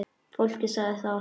Fólkið sagði það.